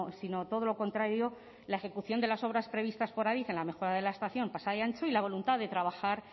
sino todo lo contrario la ejecución de las obras previstas por adif en la mejora de la estación pasai antxo y la voluntad de trabajar